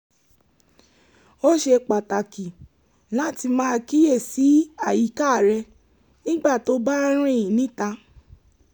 ó ṣe pàtàkì láti máa kíyèsí àyíká rẹ nígbà tó o bá ń rìn níta